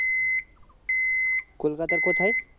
কলকাতা র কোথায়